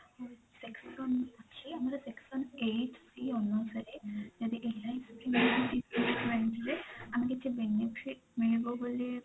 section ଅଛି ଆମର section eight c ଅନୁସାରେ ଯଦି ଆମେ କିଛି benefit ମିଳିବ ବୋଲି